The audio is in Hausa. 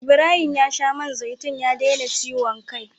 Ibrahim ya sha man zaitun ya daina ciwon kai.